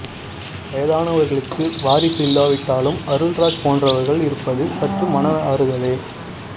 வயதானவர்களுக்கு வாரிசு இல்லாவிட்டாலும் அருள்ராஜ் போன்றவர்கள் இருப்பது சற்று மன ஆறுதலே